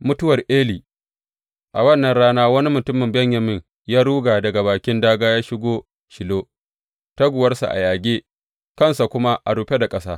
Mutuwar Eli A wannan rana wani mutumin Benyamin ya ruga da bakin dāgā ya shigo Shilo, taguwarsa a yage, kansa kuma a rufe da ƙasa.